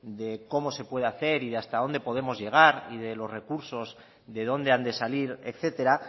de cómo se pueda hacer y de hasta dónde podemos llegar y de los recursos de dónde han de salir etcétera